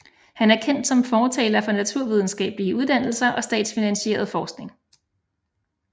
Han er kendt som fortaler for naturvidenskabelige uddannelser og statsfinansieret forskning